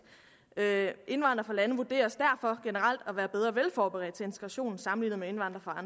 … indvandrere lande vurderes derfor generelt at være bedre velforberedte til integration sammenlignet med indvandrere